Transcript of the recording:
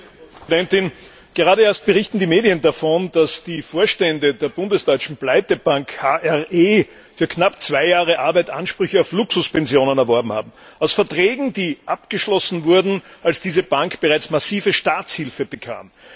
Frau Präsidentin! Gerade erst berichten die Medien davon, dass die Vorstände der bundesdeutschen Pleitebank HRE für knapp zwei Jahre Arbeit Ansprüche auf Luxuspensionen erworben haben, aus Verträgen, die abgeschlossen wurden, als diese Bank bereits massive Staatshilfe bekam.